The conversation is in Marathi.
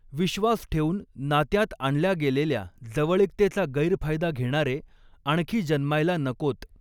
विश्वास ठेऊन नात्यांत आणल्या गेलेल्या जवळीकतेचा गैरफायदा घेणारे आणखी जन्मायला नकोत.